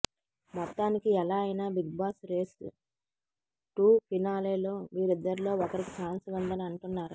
మొత్తానికి ఎలా అయినా బిగ్ బాస్ రేస్ టు ఫినాలేలో వీరిద్దరిలో ఒకరికి ఛాన్స్ ఉందని అంటున్నారు